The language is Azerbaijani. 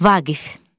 Vaqif.